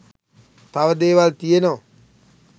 තව දේවල් තියෙනවා